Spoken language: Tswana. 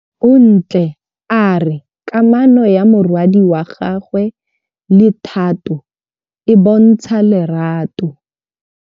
Bontle a re kamanô ya morwadi wa gagwe le Thato e bontsha lerato.